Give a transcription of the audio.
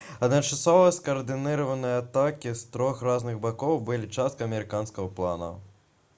адначасовыя скаардынаваныя атакі з трох розных бакоў былі часткай амерыканскага плана